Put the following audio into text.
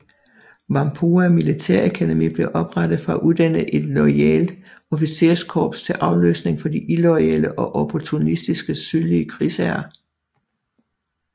Whampoa Militærakademi blev oprettet for at uddanne et lojalt officerkorps til afløsning for de illoyale og opportunistiske sydlige krigsherrer